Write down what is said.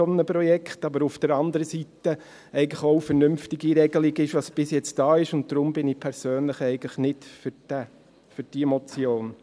Aber auf der anderen Seite ist es eigentlich auch eine vernünftige Regelung, was bis jetzt da ist, und deshalb bin ich persönlich eigentlich nicht für diese Motion.